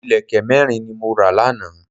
Ìlẹ̀kẹ̀ mẹ́rin ni mo ra lánàá